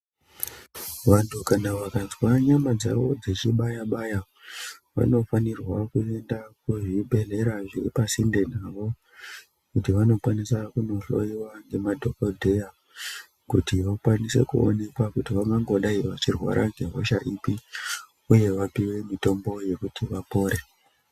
Vanthu kana vakanzwa nyama dzeibaya vaya vanofanirwa kuenda kuzvibhedhlera zviri pasinte navo kuti vanokwanisa kunohloyiwa nemadhokodheya kuti vakwanise kuonekwa kuti vangodai vachirwara nehosha ipi uye vapiwe mitombo yekuti vapore.